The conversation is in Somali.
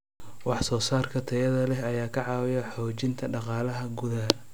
Wax soo saarka tayada leh ayaa ka caawiya xoojinta dhaqaalaha gudaha.